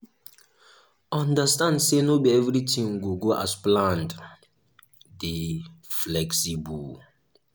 understand sey no be everything go go as planned dey flexible